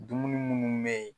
Dumuni munnu be yen